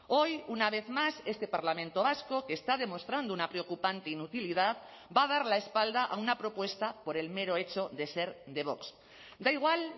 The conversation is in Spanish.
hoy una vez más este parlamento vasco que está demostrando una preocupante inutilidad va a dar la espalda a una propuesta por el mero hecho de ser de vox da igual